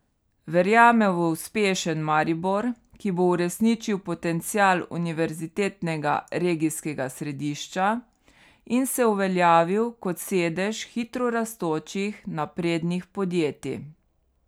Verjame v uspešen Maribor, ki bo uresničil potencial univerzitetnega regijskega središča in se uveljavil kot sedež hitro rastočih, naprednih podjetij.